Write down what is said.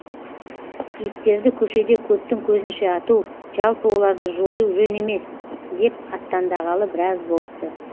иттерді көшеде көптің көзінше ату жалпы оларды жою жөн емес деп аттандағалы біраз болыпты